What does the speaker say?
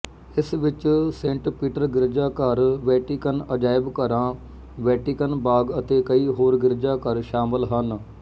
ਇਸ ਵਿੱਚ Saint Peter ਗਿਰਜਾਘਰ ਵੈਟੀਕਨ ਅਜਾਇਬਘਰਾਂ ਵੈਟਿਕਨ ਬਾਗ ਅਤੇ ਕਈ ਹੋਰ ਗਿਰਜਾਘਰ ਸ਼ਾਮਲ ਹਨ